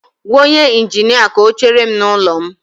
Gwa onye injinia ka ọ chere m n'ụlọ m